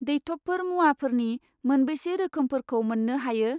दैथबफोर मुवाफोरनि मोनबेसे रोखोमफोरखौ मोन्नो हायो?